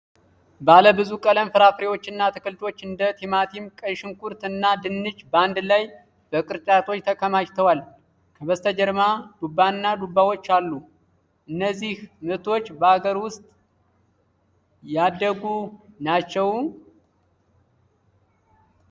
ባለብዙ ቀለም ፍራፍሬዎችና አትክልቶች እንደ ቲማቲም፣ ቀይ ሽንኩርት እና ድንች በአንድ ላይ በቅርጫቶች ተከማችተዋል። ከበስተጀርባ ዱባና ዱባዎች አሉ። እነዚህ ምርቶች በአገር ውስጥ ያደጉ ናቸው?